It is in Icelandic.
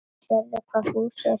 Sérðu hvað Fúsi er fínn?